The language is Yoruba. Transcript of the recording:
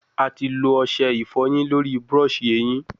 A ti lo ọṣẹ ifoyin lori brush ehin